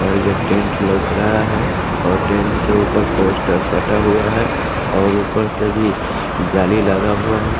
और ये टेंट लऊक रहा है और टेंट के ऊपर पोस्टर सटा हुआ है और ऊपर से भी जाली लगा हुआ है।